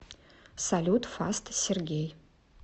салют фаст сергей